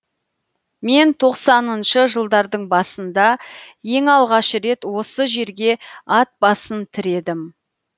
мен тоқсаныншы жылдардың басында ең алғаш рет осы жерге ат басын тіредім